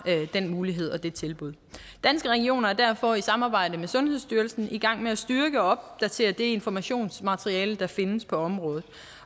den mulighed og det tilbud danske regioner er derfor i samarbejde med sundhedsstyrelsen i gang med at styrke og opdatere det informationsmateriale der findes på området